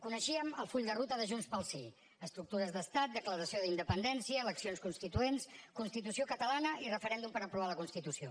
coneixíem el full de ruta de junts pel sí estructures d’estat declaració d’independència eleccions constituents constitució catalana i referèndum per aprovar la constitució